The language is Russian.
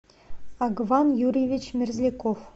агван юрьевич мерзляков